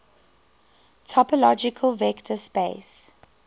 topological vector space